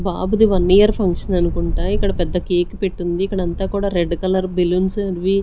బాబుది one year function అనుకుంటా ఇక్కడ పెద్ద కేక్ పెట్టుంది ఇక్కడంతా కూడా రెడ్ కలర్ బెలూన్స్ అవి.